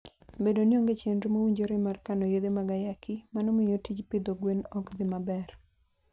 Bedo ni onge chenro mowinjore mar kano yedhe mag ayaki, mano miyo tij pidho gwen ok dhi maber.